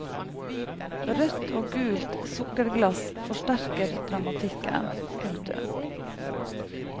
Rødt og gult sukkerglass forsterker dramatikken. punktum